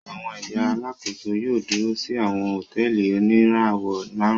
Awọn ẹya Alàkóso yóò dúrò si awọn hotẹẹli onirawọ márùn